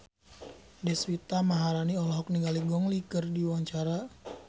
Deswita Maharani olohok ningali Gong Li keur diwawancara